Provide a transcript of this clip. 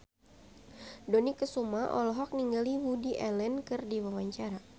Dony Kesuma olohok ningali Woody Allen keur diwawancara